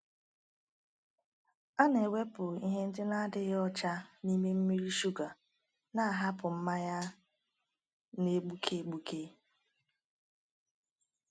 A na-ewepụ ihe ndị na-adịghị ọcha n’ime mmiri shuga, na-ahapụ mmanya a na-egbuke egbuke.